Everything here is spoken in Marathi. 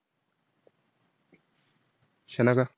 शनाका